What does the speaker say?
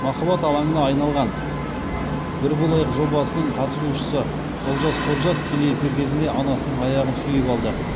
махаббат алаңына айналған бір болайық жобасының қатысушысы олжас ходжа тікелей эфир кезінде анасының аяғын сүйіп алды